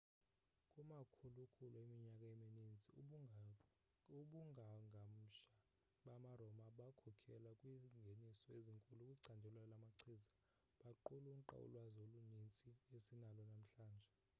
kumakhulukhulu eminyaka emininzi, ubungangamsha bama roma bakhokhela kwingeniso ezinkulu kwicandelo lamachiza baqulunqa ulwazi olunintsi esinalo namhlanje